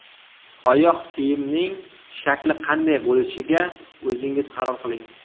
Oyoq kiyimning shakli qanday bo‘lishiga o‘zingiz qaror qiling.